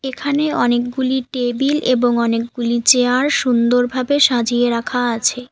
এখানে অনেকগুলি টেবিল এবং অনেকগুলি চেয়ার সুন্দরভাবে সাজিয়ে রাখা আছে।